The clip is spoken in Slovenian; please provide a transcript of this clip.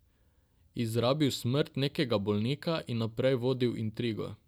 Izrabil smrt nekega bolnika in naprej vodil intrigo.